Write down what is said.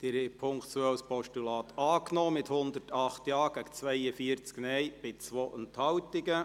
Sie haben den Punkt 2 als Postulat angenommen, mit 108 Ja- gegen 42 Nein-Stimmen bei 2 Enthaltungen.